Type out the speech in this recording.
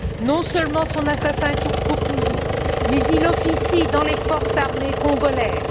Non seulement son assassin court toujours, mais il officie dans les forces armées congolaises.